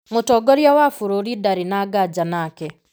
Mũtongoria wa bũrũri ndarĩ na nganja nake.